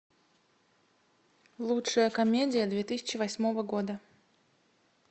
лучшая комедия две тысячи восьмого года